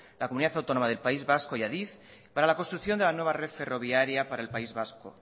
la comunidad autónoma del país vasco y adif para la construcción de la nueva red ferroviaria para el país vasco